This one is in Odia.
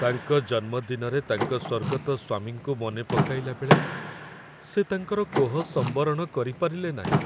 ତାଙ୍କ ଜନ୍ମଦିନରେ ତାଙ୍କ ସ୍ୱର୍ଗତ ସ୍ୱାମୀଙ୍କୁ ମନେ ପକାଇଲାବେଳେ ସେ ତାଙ୍କର କୋହ ସମ୍ବରଣ କରିପାରିଲେ ନାହିଁ।